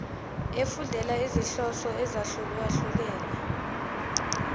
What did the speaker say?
efundela izinhloso ezahlukehlukene